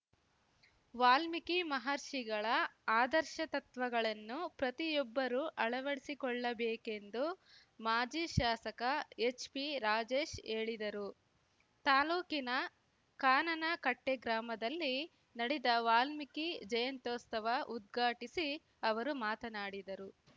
ವಾಲ್ಮೀಕಿ ಮಹರ್ಷಿಗಳ ಆದರ್ಶ ತತ್ವಗಳನ್ನು ಪ್ರತಿಯೊಬ್ಬರೂ ಅಳವಡಿಸಿಕೊಳ್ಳಬೇಕೆಂದು ಮಾಜಿ ಶಾಸಕ ಎಚ್‌ಪಿರಾಜೇಶ್‌ ಹೇಳಿದರು ತಾಲೂಕಿನ ಕಾನನಕಟ್ಟೆಗ್ರಾಮದಲ್ಲಿ ನಡೆದ ವಾಲ್ಮೀಕಿ ಜಯಂತ್ಯೋಸ್ತವ ಉದ್ಘಾಟಿಸಿ ಅವರು ಮಾತನಾಡಿದರು